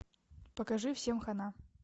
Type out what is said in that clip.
покажи всем хана